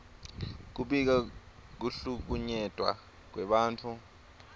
kubika kuhlukunyetwa kwebantfu